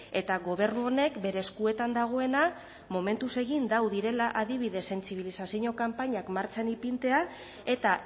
eta gobernu honek bere eskuetan dagoena momentuz egin du direla adibidez sentsibilizazio kanpainak martxan ipintzea eta